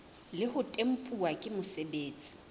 le ho tempuwa ke mosebeletsi